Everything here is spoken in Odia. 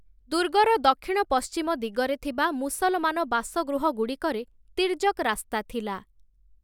ଦୁର୍ଗର ଦକ୍ଷିଣ ପଶ୍ଚିମ ଦିଗରେ ଥିବା ମୁସଲମାନ ବାସଗୃହଗୁଡ଼ିକରେ ତିର୍ଯ‌କ୍ ରାସ୍ତା ଥିଲା ।